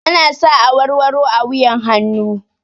Ana sa awarwaro a wuyan hannu